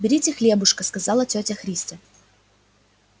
берите хлебушко сказала тётя христя